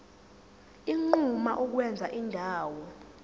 unquma ukwenza indawo